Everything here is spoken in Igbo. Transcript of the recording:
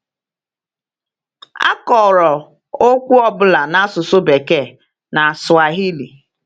A kọrọ okwu ọ bụla n’asụsụ Bekee na Swahili.